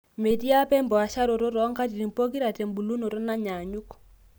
metii apa empaasharoto too nkatitin pookira tebulunoto nanyaanyuk